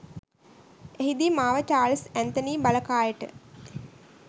එහිදී මාව Charles Anthony බලකායට